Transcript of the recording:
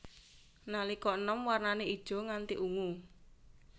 Nalika enom wernané ijo nganti ungu